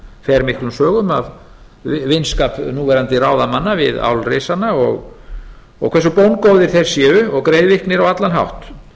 fer miklum sögum af vinskap núverandi ráðamanna við álrisana og hversu bóngóðir þeir séu og greiðviknir á allan hátt